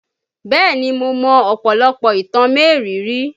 Bẹ́ẹ̀ni mo mọ ọ̀pọ̀lọpọ̀ ìtàn mériìírí